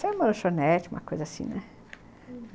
Sai uma lanchonete, uma coisa assim, né? hum.